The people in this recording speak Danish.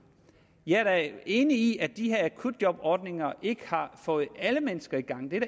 jeg er da enig i at de her akutjobordninger ikke har fået alle mennesker i gang det er